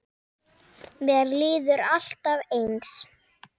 Mér líður alltaf eins.